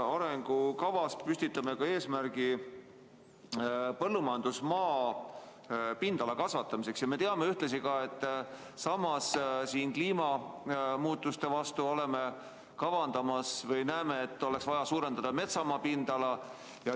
Arengukavas püstitame ka eesmärgi kasvatada põllumajandusmaa pindala ja samas kliimamuutuste leevendamiseks kavandame või arvame, et oleks vaja suurendada metsamaa pindala.